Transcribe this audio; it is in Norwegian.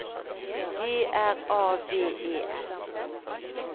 G R A V E S